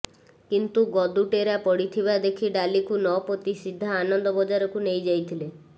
କିନ୍ତୁ ଗଦୁ ଟେରା ପଡ଼ିଥିବା ଦେଖି ଡାଲିକୁ ନ ପୋତି ସିଧା ଆନନ୍ଦ ବଜାରକୁ ନେଇ ଯାଇଥିଲେ